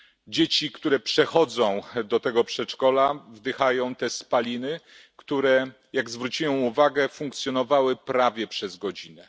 Dzieci, które przechodzą do tego przedszkola, wdychają te spaliny, które jak zwróciłem uwagę, funkcjonowały prawie przez godzinę.